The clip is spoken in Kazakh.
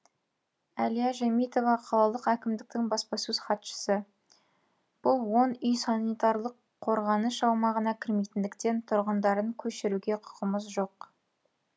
әлия жәмитова қалалық әкімдіктің баспасөз хатшысы бұл он үй санитарлық қорғаныш аумағына кірмейтіндіктен тұрғындарын көшіруге құқығымыз жоқ